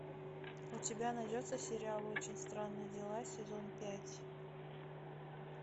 у тебя найдется сериал очень странные дела сезон пять